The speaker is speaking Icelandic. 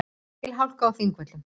Mikil hálka á Þingvöllum